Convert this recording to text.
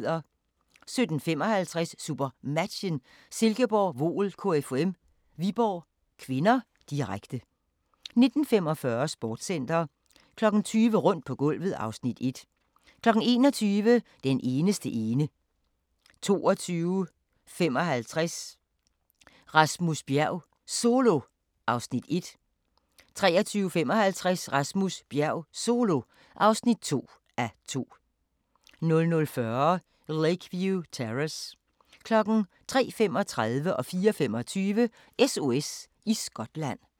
17:55: SuperMatchen: Silkeborg-Voel KFUM - Viborg (k), direkte 19:45: Sportscenter 20:00: Rundt på gulvet (Afs. 1) 21:00: Den eneste ene 22:55: Rasmus Bjerg Solo (1:2) 23:55: Rasmus Bjerg Solo (2:2) 00:40: Lakeview Terrace 03:35: SOS i Skotland 04:25: SOS i Skotland